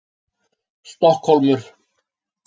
Stokkhólmur